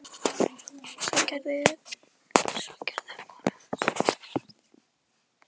Svo gerði og kona hans sem þá var þunguð.